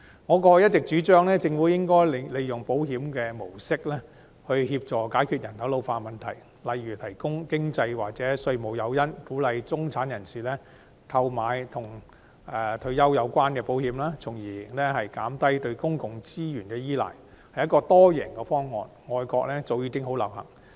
我過往一直主張政府利用保險模式協助解決人口老化的問題，例如提供經濟或稅務誘因以鼓勵中產人士購買與退休有關的保險，從而減低對公共資源的依賴，屬多贏方案，外國早已流行。